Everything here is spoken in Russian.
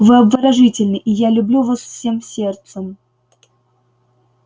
вы обворожительны и я люблю вас всем сердцем